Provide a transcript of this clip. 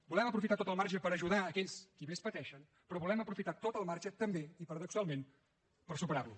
volem aprofitar tot el marge per ajudar aquells qui més pateixen però volem aprofitar tot el marge també i paradoxalment per superar lo